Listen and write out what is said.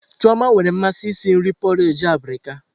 Chioma nwere mmasị isi nri porrage abirika.